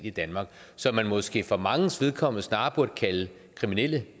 i danmark som man måske for manges vedkommende snarere burde kalde kriminelle